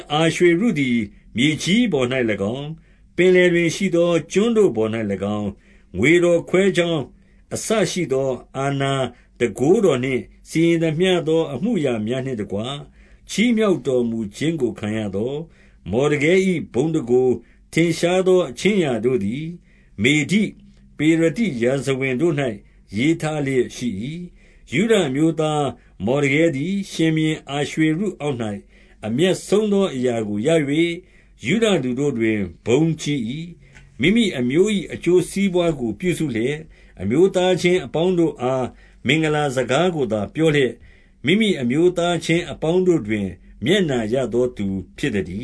အာရွှေရုသည်မြေကြီးပေါ်၌၎င်း၊ ပင်လယ်တွင်ရှိသောကျွန်းတို့ပေါ်၌၎င်း၊ ငွေတော်ခွဲ ကြောင်း အစရှိသော၊ 2 အာဏာတန်ခိုးတော်နှင့် စီရင်သမျှသော အမှုအရာများနှင့်တကွ၊ ချီးမြှောက်တော်မူခြင်းကို ခံရသော မော်ဒကဲ၏ ဘုန်းတန်ခိုး၊ ထင်ရှားသော အခြင်းအရာတို့သည် မေဒိ၊ ပေရသိရာဇဝင်တို့၌ ရေးထားလျက် ရှိ၏။ 3 ယုဒအမျိုးသား မော်ဒကဲသည် ရှင်ဘုရင် အာရွှေရုအောက်၌ အမြတ်ဆုံးသော အရာကိုရ၍ ယုဒလူ တို့တွင် ဘုန်းကြီး၏။ မိမိအမျိုး၏ အကျိုးစီးပွားကို ပြုစုလျက်၊ အမျိုးသားချင်းအပေါင်းတို့အား မင်္ဂလာစကားကို သာပြောလျက်၊ မိမိအမျိုးသားချင်းအပေါင်းတို့တွင် မျက်နှာရသောသူ ဖြစ်သတည